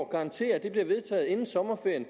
garantere at det bliver vedtaget inden sommerferien